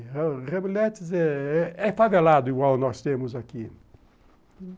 Hamlet é é favelado, igual nós temos aqui.